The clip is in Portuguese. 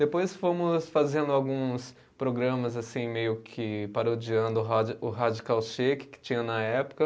Depois fomos fazendo alguns programas assim meio que parodiando o radi, o Radical Shake que tinha na época.